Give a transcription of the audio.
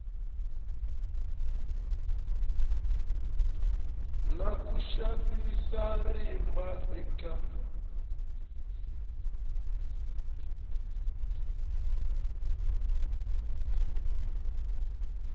na ku xavisa rimba eka